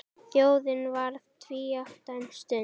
Þjóðin varð tvíátta um stund.